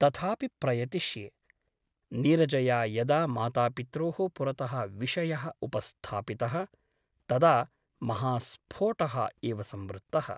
तथापि प्रयतिष्ये । नीरजया यदा मातापित्रोः पुरतः विषयः उपस्थापितः तदा महास्फोटः एव संवृत्तः ।